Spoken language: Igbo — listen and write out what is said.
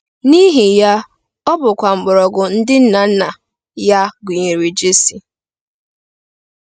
N'ihi ya, ọ bụkwa “mgbọrọgwụ” nke ndị nna nna ya, gụnyere Jesi.